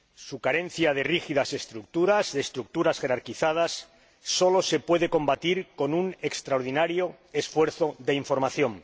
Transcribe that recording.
Su carencia de rígidas estructuras, de estructuras jerarquizadas, solo se puede combatir con un extraordinario esfuerzo de información.